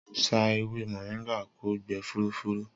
Sà èwé mọ̀ringà kò gbè fùrúfùrú